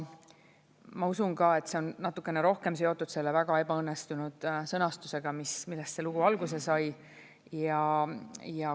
Ma usun ka, et see on natukene rohkem seotud selle väga ebaõnnestunud sõnastusega, millest see lugu alguse sai.